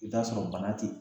I be t'a sɔrɔ bana te yen